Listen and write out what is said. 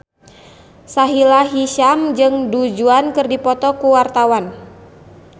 Sahila Hisyam jeung Du Juan keur dipoto ku wartawan